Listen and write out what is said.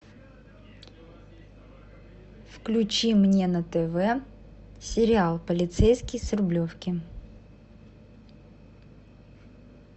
включи мне на тв сериал полицейский с рублевки